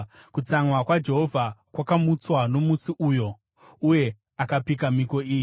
Kutsamwa kwaJehovha kwakamutswa nomusi uyo uye akapika mhiko iyi: